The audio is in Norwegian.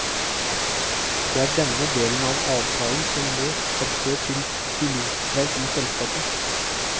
Det er denne delen av avtalen som nå har ført til pilotstreik i selskapet.